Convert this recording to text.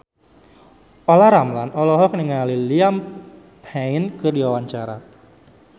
Olla Ramlan olohok ningali Liam Payne keur diwawancara